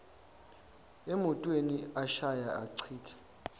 emotweni ashaya achitha